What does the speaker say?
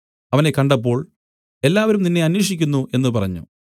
അവനെ കണ്ടപ്പോൾ എല്ലാവരും നിന്നെ അന്വേഷിക്കുന്നു എന്നു പറഞ്ഞു